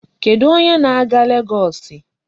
Kedụ onye na-aga Legọọsị?